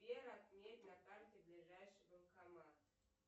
сбер отметь на карте ближайший банкомат